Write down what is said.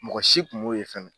Mɔgɔ si kun m'o ye fɛnɛ